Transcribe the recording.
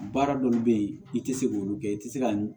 Baara dɔw bɛ ye i tɛ se k'olu kɛ i tɛ se ka